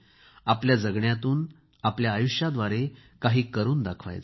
आपल्या जगण्यातून आयुष्याद्वारे काही करून दाखवायचे